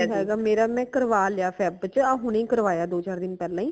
ਨਹੀਂ ਹੈਗਾ ਮੇਰਾ ਮੈਂ ਕਰਵਾ ਲਿਆ feb ਚ ਆ ਹੁਣੀ ਕਰਵਾਇਆ ਦੋ ਚਾਰ ਦਿਨ ਪਹਿਲਾ ਹੀ